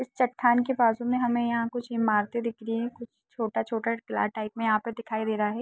इस चठान के बाजु में हमें यहा कुछ इमारते दिख रही है कुछ छोटा-छोटा दीवार टाइप में दिखाई दे रहा है।